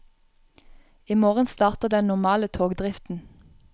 I morgen starter den normale togdriften.